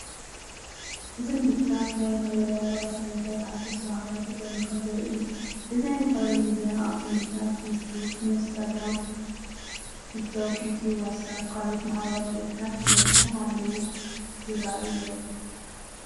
እዚ ምልክታት ናይ ማሕበራዊ መራኸቢታት ኣፕስ ብሓባር ተጠርኒፎም ዘርኢ እዩ። እዚ ናይ ማሕበራዊ ሚድያ ኣፕ ምልክታት፣ ፌስቡክ፣ ኢንስታግራም፣ ቲክቶክ፣ ዩቱብ፣ ዋትስኣፕን ካልኦት ሕብራዊ ምልክታትን ተዘርጊሖም ኣለዉ ይራኣዩ ኣለው።